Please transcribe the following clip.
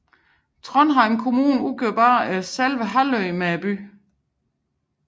Trondheim kommune udgjorde bare selve halvøen med byen